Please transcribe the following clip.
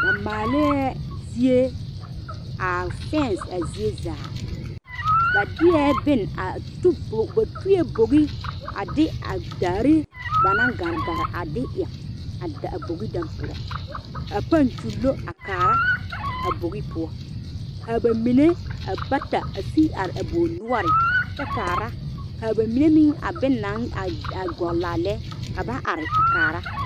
Ba maale zie a fanse a zie zaa ba deɛ bon a tu bogi ba tuɛ bogi a de daare ba naŋ gare gare a de eŋ a bogi dɛ poɔ ka page kyulu a kaara a bogi poɔ kaa ba mine a bata a sige are a bogi noɔre kyɛ kaara kaa ba mine meŋ a bonne naŋ gɔgle a lɛ ka ba are kaara.